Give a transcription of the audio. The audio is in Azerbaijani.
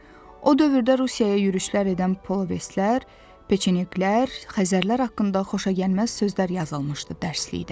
O dövrdə Rusiyaya yürüşlər edən Polovetslər, Peçeniklər, Xəzərlər haqqında xoşagəlməz sözlər yazılmışdı dərslikdə.